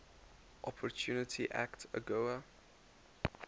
opportunity act agoa